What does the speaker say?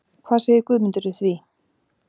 Hvað segir Guðmundur við því?